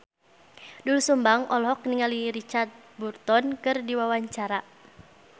Doel Sumbang olohok ningali Richard Burton keur diwawancara